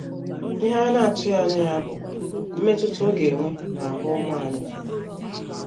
Ihe anyị na - atụghị anya ya bụ mmetụta ọ ga - enwe n’ahụ ụmụ anyị.